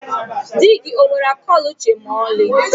Dị gị onwere akọ na uche ma ọlị?